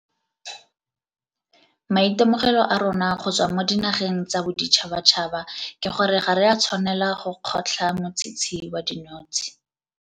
Maitemogelo a rona go tswa mo dinageng tsa boditšhabatšhaba ke gore ga re a tshwanela go kgotlha motshitshi wa dinotshe.